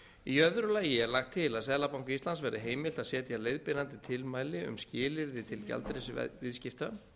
í öðru lagi er lagt til að seðlabanka íslands verði heimilt að setja leiðbeinandi tilmæli um skilyrði til gjaldeyrisviðskipta